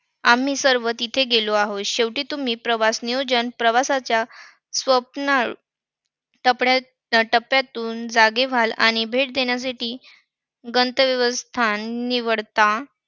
आम्ही सर्व तिथे गेलो आहोत. शेवटी तुम्ही प्रवास नियोजन प्रवासाच्या स्वप्न टपड्या~ टप्प्यातून जागे व्हाल. आणि भेट देण्यासाठी गंतव्यस्थान निवडता. आता